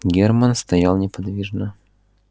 германн стоял неподвижно